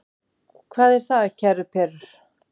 Hvað er það, kæru perur?